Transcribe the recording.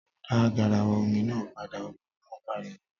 Dá garawa omi náà padà! Obìnrin náà pariwo.